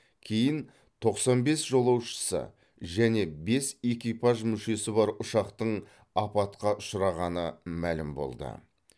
кейін тоқсан бес жолаушысы және бес экипаж мүшесі бар ұшақтың апатқа ұшырағаны мәлім болды